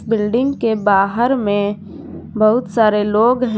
Building के बाहर में बहुत सारे लोग हैं।